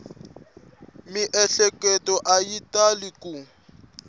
miehleketo a yi tali ku